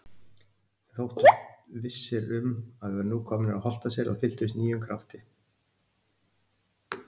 Við þóttumst vissir um að við værum nú komnir að Holtaseli og fylltumst nýjum krafti.